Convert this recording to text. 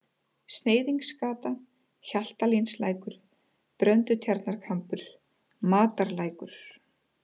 Sneiðingsgata, Hjaltalínslækur, Bröndutjarnarkambur, Matarlækur